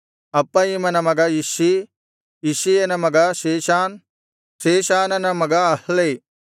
ಅಪ್ಪಯಿಮನ ಮಗ ಇಷ್ಷೀ ಇಷ್ಷೀಯನ ಮಗ ಶೇಷಾನ್ ಶೇಷಾನನ ಮಗ ಅಹ್ಲೈ